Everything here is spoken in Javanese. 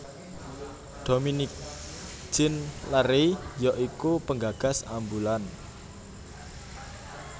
Dominique Jean Larrey ya iku penggagas ambulan